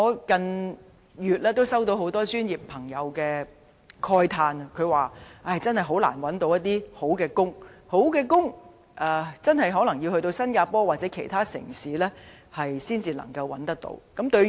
近月很多專業朋友慨嘆難以覓得好工作，表示可能要到新加坡或其他地方，才能夠找到好工作。